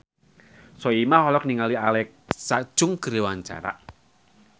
Soimah olohok ningali Alexa Chung keur diwawancara